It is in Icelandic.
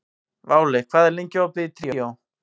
Váli, hvað er lengi opið í Tríó?